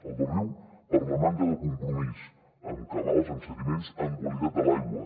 al del riu per la manca de compromís en cabals en sediments en qualitat de l’aigua